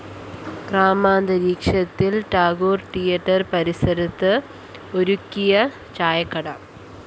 ഗ്രാമാന്തരീക്ഷത്തില്‍ Tagore‍ theatre പരിസരത്ത് ഒരുക്കിയ ചായക്കട